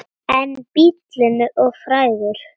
En bíllinn er of frægur.